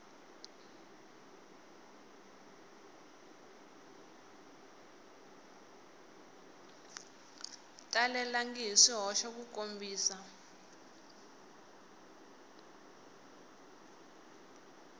talelangi hi swihoxo ku kombisa